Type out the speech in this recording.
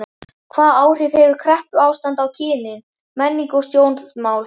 Hvaða áhrif hefur kreppuástand á kynin, menningu og stjórnmál?